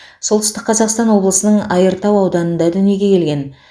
солтүстік қазақстан облысының айыртау ауданында дүниеге келген